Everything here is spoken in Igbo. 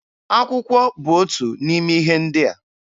Akwụkwọ bụ otu n'ime ihe ndị a.